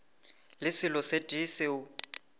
le selo se tee seo